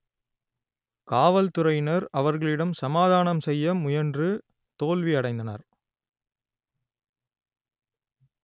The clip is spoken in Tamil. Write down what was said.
காவல்துறையினர் அவர்களிடம் சமாதானம் செய்ய முயன்று தோல்வி அடைந்தனர்